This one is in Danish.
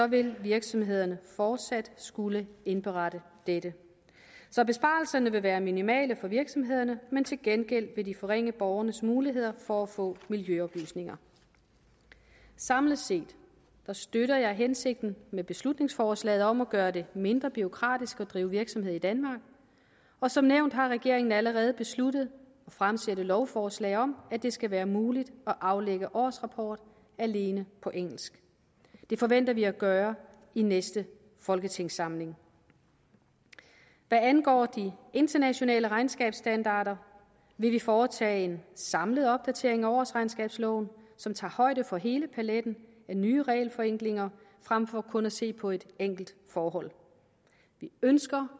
vil virksomhederne fortsat skulle indberette dette så besparelserne vil være minimale for virksomhederne men til gengæld vil de forringe borgernes muligheder for at få miljøoplysninger samlet set støtter jeg hensigten med beslutningsforslaget om at gøre det mindre bureaukratisk at drive virksomhed i danmark og som nævnt har regeringen allerede besluttet at fremsætte lovforslag om at det skal være muligt at aflægge årsrapport alene på engelsk det forventer vi at gøre i næste folketingssamling hvad angår de internationale regnskabsstandarder vil vi foretage en samlet opdatering af årsregnskabsloven som tager højde for hele paletten af nye regelforenklinger frem for kun at se på et enkelt forhold vi ønsker